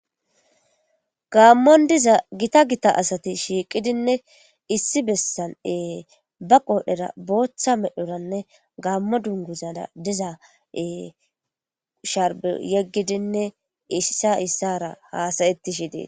Gaammon diza gita gita asati shiiqidinne issi bessan'ee ba qoodhera booththa medhoranne gaammo dunguzada diza'e sharbo yeggidinne issa issara haasayetti shidee